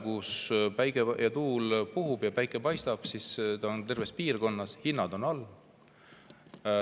Kui tuul puhub ja päike paistab, siis see on terves piirkonnas nii ja hinnad on all.